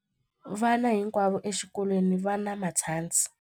Vana hinkwavo exikolweni va na matshansi.